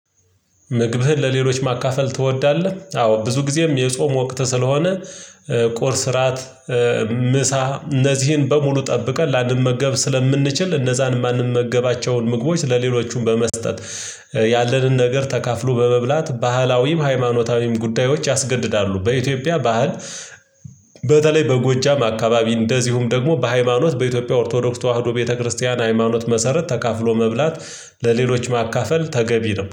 "ምግብህን ለሌሎች ማካፈል ትወዳለህ?" አዎ፤ ብዙ ጊዜም የጾም ወቅት ስለሆነ ቁርስ፣ እራት፣ ምሳ እነዚህን በሙሉ ጠብቀን ላንመገብ ስለምንችል እነዛን የማንመገባቸውን ምግቦች ለሌሎቹም በመስጠት ያለንን ነገር ተካፍሎ በመብላት ባህላዊም ሃይማኖታዊም ጉዳዮች ያስገድዳሉ። በኢትዮጵያ ባህል በተለይ በጎጃም አካባቢ እንደዚሁም ደግሞ በሃይማኖት በኢትዮጵያ ኦርቶዶክስ ተዋህዶ ቤተክርስቲያን ሃይማኖት መሰረት ተካፍሎ መብላት ለሌሎች ማካፈል ተገቢ ነው።